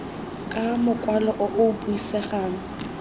ka mokwalo o o buisegang